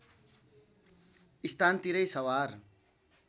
स्थान तिरै सवार